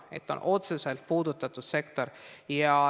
See on otseselt puudutatud sektor.